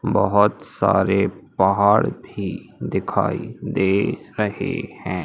बहोत सारे पहाड़ भी दिखाई दे रहे हैं।